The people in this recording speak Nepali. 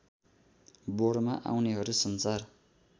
बोर्डमा आउनेहरू सञ्चार